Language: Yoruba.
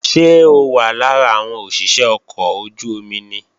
Ṣé ó wà lára àwọn òṣìṣé ọkọ̀ ojú-omi ni?